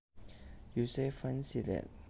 You say Fancy that